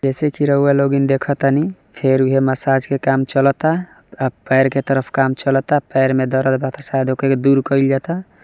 जैसे की रउआ लोगन देखा तानी फेर उहए मसाज का काम चालत आ पैर के तरफ काम चालत पैर में दरद वा शायद ओके दूर कइल जाता |